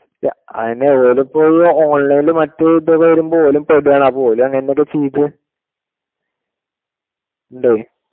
അയ്‌യനെ ഓരിപ്പൊ online ഇൽ മറ്റേ ഒക്കെ വരുമ്പോ ഓരും ready യാണ് അപ്പൊ ഓരും അങ്ങിനത്തെ ഒക്കെ ചെയ്തു ഉണ്ടേ